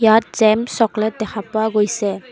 ইয়াত gem chocolate দেখা পোৱা গৈছে।